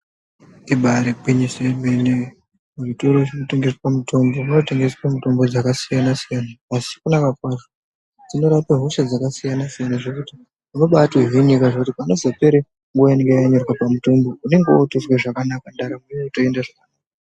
Ibarigwinyiso yemene muzvitoro zvinotengeswa mutombo munotengeswa mitombo dzvakasiyana-siyana. Asi kunaka kwazvo dzinorapa hosha dzakasiyana-siyana, zvekuti unobatohinika zvekuti panozopere nguva inenge yakanyorwa pamutombo unonga votozwe zvakanaka ndaramo yotoenda zvakanaka.